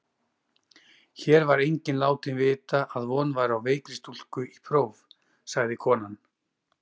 Hér var enginn látinn vita að von væri á veikri stúlku í próf, sagði konan.